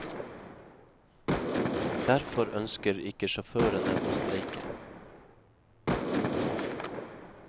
Derfor ønsker ikke sjåførene å streike.